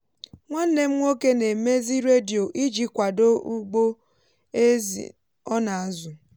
nwanne m nwoke na-emezi redio iji kwado ugbo ézì ọ ná azu.